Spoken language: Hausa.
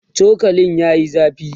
chokalin yayi zafi